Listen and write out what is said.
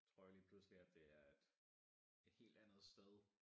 Tror jo lige pludselig at det er et et helt andet sted